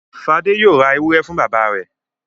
Fadé yóò ra ewúrẹ́ fún bàbá rẹ̀.